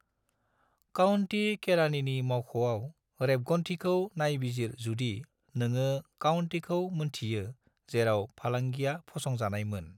County केरानिनि मावख'आव रेबगान्थिखौ नायबिजिर जुदि नोङो काउंटीखौ मोनथियो जेराव फालांगिया फसंजानाय मोन।